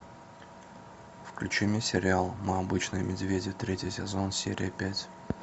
включи мне сериал мы обычные медведи третий сезон серия пять